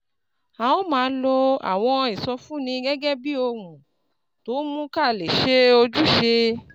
A ó máa lo àwọn ìsọfúnni gẹ́gẹ́ bí ohun tó ń mú ká lè ṣe ojúṣe